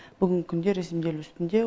бүгінгі күнде ресімделу үстінде